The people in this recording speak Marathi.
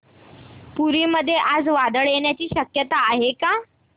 पुरी मध्ये आज वादळ येण्याची शक्यता आहे का